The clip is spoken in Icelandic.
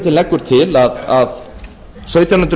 hlutinn leggur til að sautján hundruð